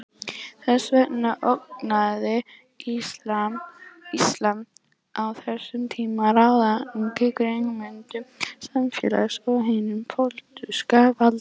Þess vegna ógnaði íslam á þessum tíma ráðandi grunnhugmyndum samfélagsins og hinu pólitíska valdi.